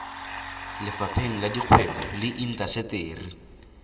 lefapheng la dikgwebo le intaseteri